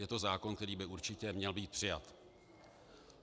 Je to zákon, který by určitě měl být přijat.